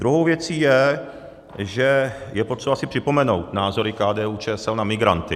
Druhou věcí je, že je potřeba si připomenout názory KDU-ČSL na migranty.